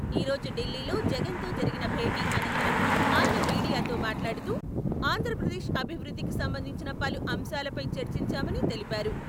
ఈ రోజు ఢిల్లీలో జగన్ తో జరిగిన భేటీ అనంతరం ఆయన మీడియాతో మాట్లాడుతూ, ఆంధ్రప్రదేశ్ అభివృద్ధికి సంబంధించిన పలు అంశాలపై చర్చించామని తెలిపారు.